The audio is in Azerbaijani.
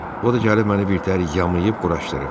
O da gəlib məni birtəhər yamayıb-quraşdırıb.